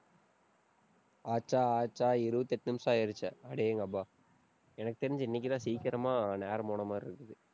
ஆச்சா ஆச்சா, இருபத்தி எட்டு நிமிஷம் ஆயிடுச்சு அடேங்கப்பா எனக்கு தெரிஞ்சு, இன்னைக்குதான் சீக்கிரமா நேரம் போன மாதிரி இருக்குது.